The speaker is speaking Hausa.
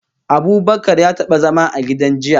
Abubakar ya taba zama a gidan jinya